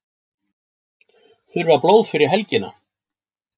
Þurfa blóð fyrir helgina